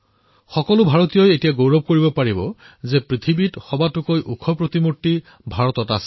প্ৰতিজন ভাৰতীয়ই এতিয়া গৰ্ব কৰিব পাৰিব যে বিশ্বৰ সকলোতকৈ ওখ প্ৰতিমা ভাৰতৰ ভূমিত আছে